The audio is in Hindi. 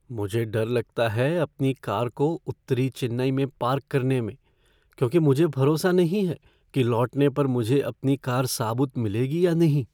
मुझे डर लगता है अपनी कार को उत्तरी चेन्नई में पार्क करने में क्योंकि मुझे भरोसा नहीं है कि लौटने पर मुझे अपनी कार साबुत मिलेगी या नहीं।